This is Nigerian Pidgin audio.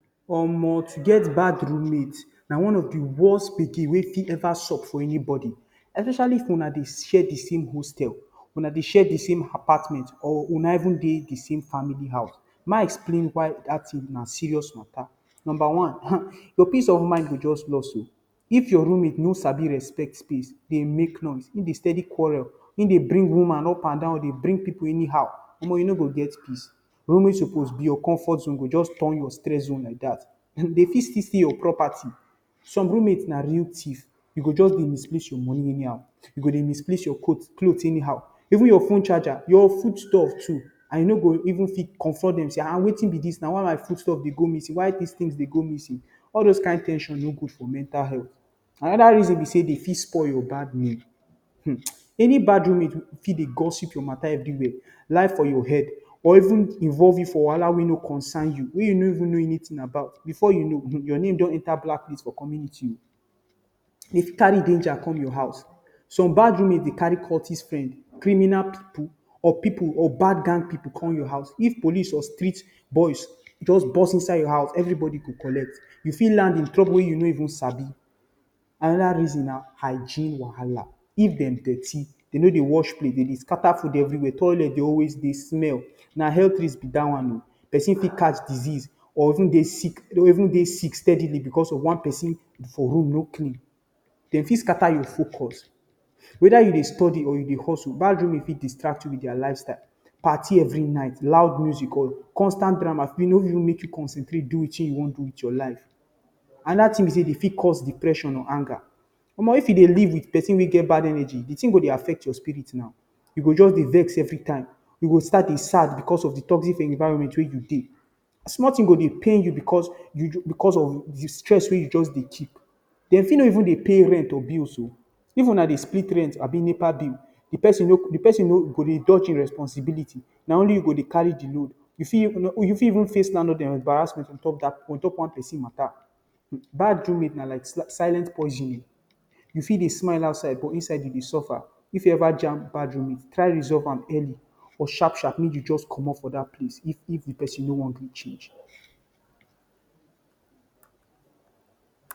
Omo! um To get bad roommate na one of the worst gbege wey fit sub for anybody. Especially if una dey share the same hostel, una dey share the same apartment, or una even dey the same family house. Make I explain why dat thing na serious matter. Number one han um, your peace of mind go just lost oh! um If your roommate no sabi respect peace, dey make noise, e dey steady quarrel, e dey bring woman upandan, dey bring pippu anyhow — omo! um you no go get peace. Room wey suppose be your comfort zone go just turn your stress zone like dat. Dem fit still steal your property. Some roommates na real thief. You go just dey misplace your money anyhow. You go dey misplace your cloth anyhow. Even your phone charger. Foodstuffs too. And you no go even fit confront dem say, “Ah ah! um Wetin be dis now? Why my foodstuff dey go missing? Why dis things dey go missing?” All those kin ten sion no good for mental health. Another reason be say dem fit spoil your bad name. Um! um Any bad roommate fit dey gossip your matter everywhere. Lie for your head or even involve you for wahala wey no concern you, wey you no even know anything about. Before you know, your name don enter blacklist for community oh! um Dem fit carry danger come your house. Some bad roommates dey carry cultist friend, criminal pippu, or bad gang pippu come your house. If police or street boys just burst enter your house — everybody go collect. You fit land for trouble wey you no sabi. Another reason na hygiene wahala. If dem dirty, dem no dey wash plate, dem dey scatter food everywhere, toilet dey always dey smell — na health risk be dat one oh! um Pesin fit catch disease or fit dey sick steadily because of one pesin for room no clean. Dem fit scatter your focus. Whether you dey study or you dey hustle, bad roommate fit distract you with their lifestyle — party every night, loud music on, constant drama. fit no even let you concentrate do wetin you wan do with your life. Another thing be say dem fit cause depression or anger. Omo! um If you dey live with pesin wey get bad energy, the thing go affect your spirit now. You go just dey vex every time. You go start dey sad because of the toxic environment wey you dey. Small thing go dey pain you because um of the stress wey you just dey keep. Dem fit no even dey pay rent or bills. Even if una dey split rent or NEPA bill, the pesin go dey dodge e responsibility — na only you go dey carry the load. You fit even face landlord embarrassment on top one pesin matter. Bad roommate na like silent poison oh! um You fit dey smile outside but inside you dey suffer. If you ever jam bad roommate, try resolve am early. Or sharp sharp, make you just comot for dat place if the pesin no wan change.